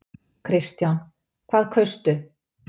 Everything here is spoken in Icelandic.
Kristján: Hvað kaustu?